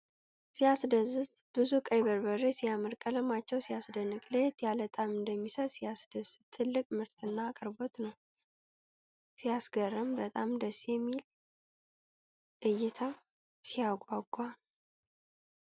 ሲያስደስት! ብዙ ቀይ በርበሬ ሲያምር! ቀለማቸው ሲያስደንቅ! ለየት ያለ ጣዕም እንደሚሰጡ ሲያስደስት! ትልቅ ምርትና አቅርቦት ነው! ሲያስገርም! በጣም ደስ የሚል እይታ! ሲያጓጓ!